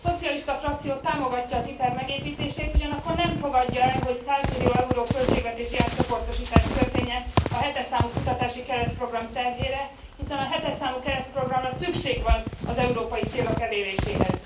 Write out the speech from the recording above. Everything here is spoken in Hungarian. A szocialista frakció támogatja az ITER megépítését, ugyanakkor nem fogadja el, hogy százmillió euró költségvetési átcsoportosítás történjen a 7 es számú kutatási keretprogram terhére, hiszen a 7 es számú keretprogramra szükség van az európai célok eléréséhez.